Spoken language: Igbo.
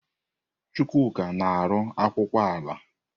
Chukwuka na-arụ akwụkwọ ala.